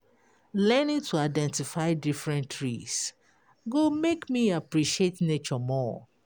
Learning to identify different trees go make me appreciate nature more.